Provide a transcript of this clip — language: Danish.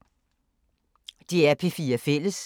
DR P4 Fælles